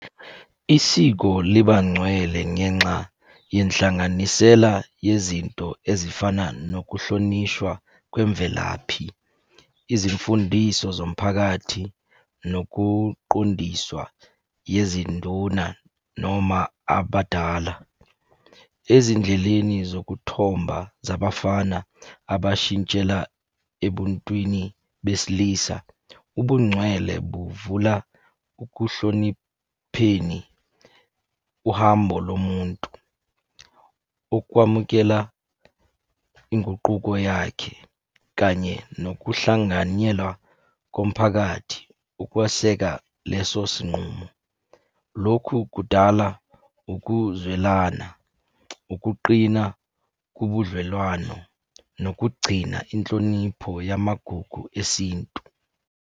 Isiko liba ngcwele ngenxa yenhlanganisela yezinto ezifana nokuhlonishwa kwemvelaphi, izimfundiso zomphakathi, nokuqondiswa yezinduna noma yabadala. Ezindleleni zokuthomba zabafana abashintshela ebuntwini besilisa, ubungcwele buvula ukuhlonipheni uhambo lomuntu. Ukwamukela inguquko yakhe, kanye nokuhlanganyelwa komphakathi ukweseka leso sinqumo. Lokhu kudala ukuzwelana, ukuqina kubudlelwano, nokugcina inhlonipho yamagugu esintu.